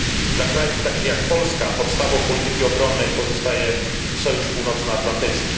Dla krajów takich jak Polska podstawą polityki obronnej pozostaje Sojusz Północnoatlantycki.